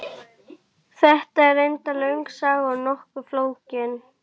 Þetta er reyndar löng saga og nokkuð flókin.